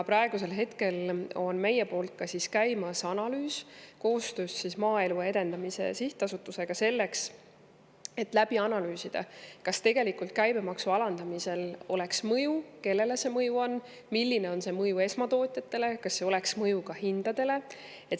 Praegu on meil käimas koostöö Maaelu Edendamise Sihtasutusega, et analüüsida, kas käibemaksu alandamisel tegelikult oleks mõju, kellele see mõju on, milline on see mõju esmatootjatele ja kas oleks mõju ka hindadele.